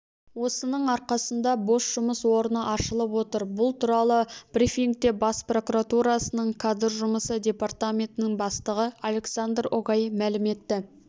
осының арқасында бос жұмыс орны ашылып отыр бұл туралы брифингте бас прокуратурасының кадр жұмысы департаментінің бастығы александр огай мәлім етті